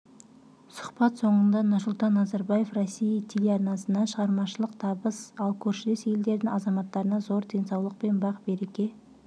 сұхбат соңында нұрсұлтан назарбаев россия телеарнасына шығармашылық табыс ал көршілес елдердің азаматтарына зор денсаулық пен бақ-береке